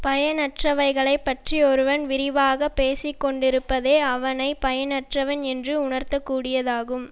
பயனற்றவைகளைப்பற்றி ஒருவன் விரிவாகப் பேசி கொண்டிருப்பதே அவனை பயனற்றவன் என்று உணர்த்தக் கூடியதாகும்